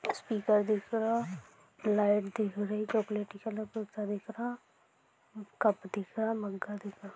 Speaker दिख रहा light दिख रही चॉकलेटी कलर सा दिख रहा कप दिख रहा मग दिख रहा।